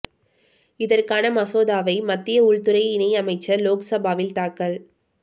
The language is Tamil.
இதற்கான மசோதாவை மத்திய உள்துறை இணை அமைச்சர் லோக்சபாவில் தாக்கல்